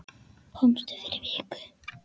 Komstu fyrir viku?